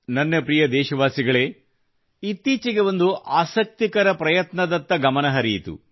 ನನ್ನ ಪ್ರಿಯ ದೇಶವಾಸಿಗಳೆ ಇತ್ತೀಚೆಗೆ ಒಂದು ಆಸಕ್ತಿಕರ ಪ್ರಯತ್ನದತ್ತ ಹರಿಯಿತು